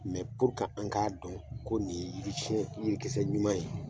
Mɛ purke an k'a dɔn ko nin ye yiri siɲɛn yirikisɛ ɲuman ye